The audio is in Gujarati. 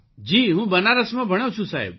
જી હું બનારસમાં ભણ્યો છું સાહેબ